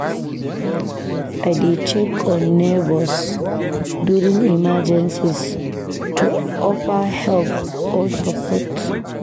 I dey check on neighbors during emergencies to offer help or support.